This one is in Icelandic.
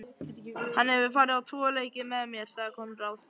Hann hefur farið á tvo leiki með mér, sagði Konráð.